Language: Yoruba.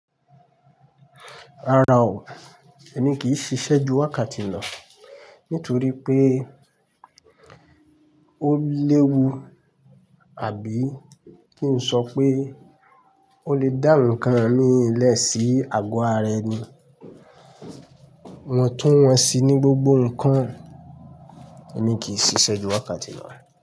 Rárá o, èmi kì í ṣiṣẹ́ ju wákàtí lo nítorí pé ó léwu, àbí kí n sọ pé ó lè dá ǹkan mi i lẹ̀ sí àgọ́ ara ẹni. Wọn tún wọ́n sí ní gbogbo ǹkan, èmi kì í ṣiṣẹ́ ju wákàtí lo.